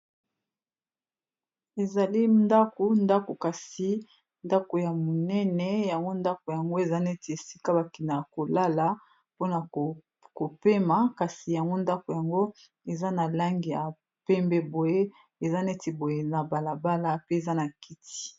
Ezali ndako ndako kasi ndako ya monene yango ndako yango eza neti esika bakina ya kolala mpona kopema kasi yango ndako yango eza na langi ya pembe, boye eza neti boye na balabala pe eza na kiti.